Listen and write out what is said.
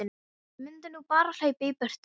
Ég mundi nú bara hlaupa í burtu.